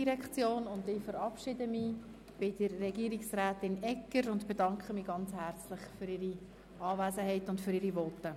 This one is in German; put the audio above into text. Ich verabschiede mich von Frau Regierungsrätin Egger und bedanke mich herzlich für ihre Anwesenheit sowie ihre Voten.